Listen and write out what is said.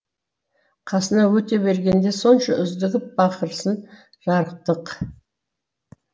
қасынан өте бергенде сонша үздігіп бақырсын жарықтық